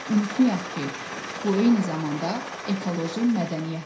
Unutmayaq ki, bu eyni zamanda ekoloji mədəniyyətdir.